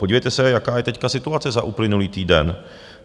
Podívejte se, jaká je teď situace za uplynulý týden.